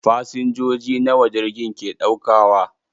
Fasinjoji nawa jirgin ke ɗaukawa?